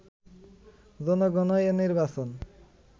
জনগণই এ নির্বাচন